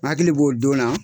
N hakili b'o don na.